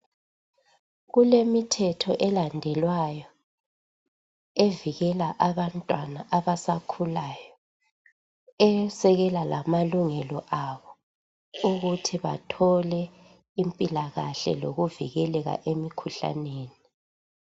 Kulemithetho elandelwayo evikela abantwana abasakhulayo, esekela lamalungelo abo ukuthi bathole impilakahle lokuvikeleka emikhuhlaneni.